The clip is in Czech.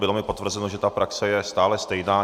Bylo mi potvrzeno, že ta praxe je stále stejná.